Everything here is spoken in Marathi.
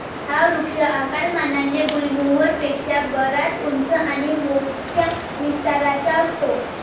हा वृक्ष आकारमानाने गुलमोहर पेक्षा बराच उंच आणि मोठया विस्ताराचा असतो.